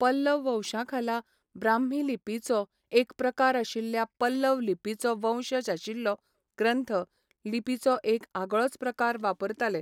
पल्लव वंशाखाला ब्राह्मी लिपीचो एक प्रकार आशिल्ल्या पल्लव लिपीचो वंशज आशिल्लो ग्रंथ लिपीचो एक आगळोच प्रकार वापरताले.